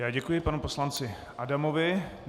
Já děkuji panu poslanci Adamovi.